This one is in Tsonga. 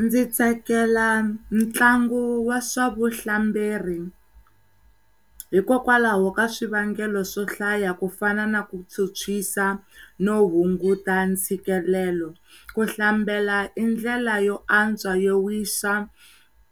Ndzi tsakela ntlangu wa swa vuhlamberi hikokwalaho ka swivangelo swo hlaya ku fana na ku phyuphyisa no hunguta ntshikelelo. Ku hlambela i ndlela yo antswa yo wisa